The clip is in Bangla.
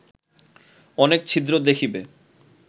অনেক ছিদ্র দেখিবে